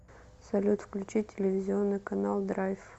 салют включи телевизионный канал драйв